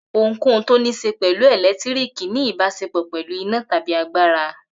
Ohunkóhun tó níṣe pẹ̀lú ẹ̀lẹ́tíríkì ní ìbáṣepọ̀ pẹ̀lú iná tàbí agbára.